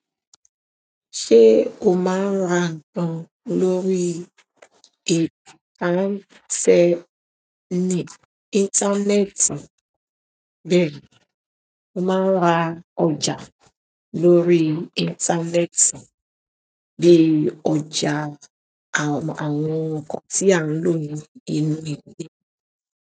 Ṣé o máa ń ra nǹkan lórí ètò tí a ń ṣe ní. Íńtánẹ́ẹ̀tì? Bẹ́ẹ̀ ni, mo máa ń ra ọjà lórí íńtánẹ́ẹ̀tì bíi ọjà àwọn nǹkan tí à ń lò nínú ilé.